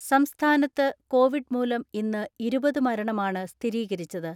സംസ്ഥാനത്ത് കോവിഡ് മൂലം ഇന്ന് ഇരുപത് മരണമാണ് സ്ഥിരീകരിച്ചത്.